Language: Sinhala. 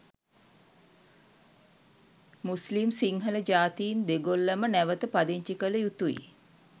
මුස්ලිම් සිංහල ජාතීන් දෙගොල්ලම නැවත පදිංචි කළ යුතුයි.